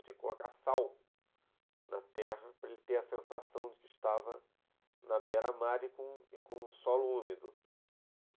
Tinha que colocar sal na terra para ele ter a sensação de que estava na beira-mar e com um e com um solo úmido.